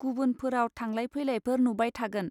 गुबुन फोराउ थांलाइ फैलाय फोर नुबाय थागोन.